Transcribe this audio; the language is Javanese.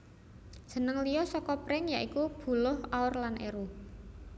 Jeneng liya saka pring ya iku buluh aur lan eru